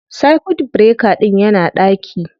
Circuit breaker ɗin yana ɗaki